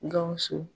Gawusu